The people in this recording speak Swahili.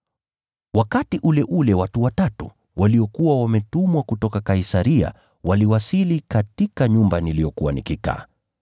“Wakati ule ule watu watatu, waliokuwa wametumwa kutoka Kaisaria waliwasili katika nyumba niliyokuwa nikikaa.